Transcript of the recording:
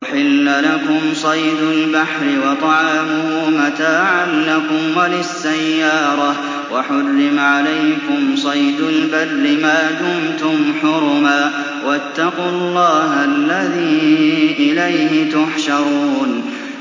أُحِلَّ لَكُمْ صَيْدُ الْبَحْرِ وَطَعَامُهُ مَتَاعًا لَّكُمْ وَلِلسَّيَّارَةِ ۖ وَحُرِّمَ عَلَيْكُمْ صَيْدُ الْبَرِّ مَا دُمْتُمْ حُرُمًا ۗ وَاتَّقُوا اللَّهَ الَّذِي إِلَيْهِ تُحْشَرُونَ